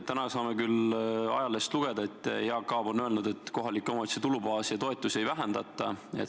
Täna saame ajalehest lugeda, et Jaak Aab on öelnud, et kohalike omavalitsuste tulubaasi ja toetusi ei vähendata.